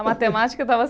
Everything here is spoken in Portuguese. A matemática dava.